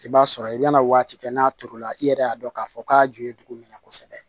I b'a sɔrɔ i bɛna waati kɛ n'a turu la i yɛrɛ y'a dɔn k'a fɔ k'a ju ye dugu min na kosɛbɛ